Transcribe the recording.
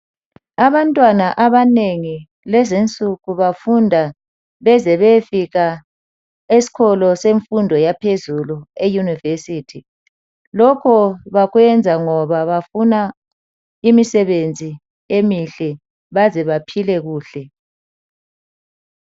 Abantwana abanengi lezinsuku bafunda beze beyefika esikolo semfundo yaphezulu eyunivesithi. Lokhu bakwenza ngoba bafuna imisebenzi emihle ukuze baphile kuhle.